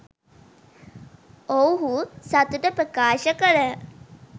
ඔවුහු සතුට ප්‍රකාශ කළහ.